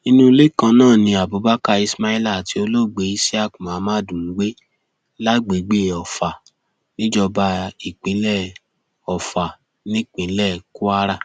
inú ilé kan náà ni abubakar ismaila àti olóògbé isiaq muhammad ń gbé lágbègbè ofa níjọba ìbílẹ ọfà nípínlẹ kwara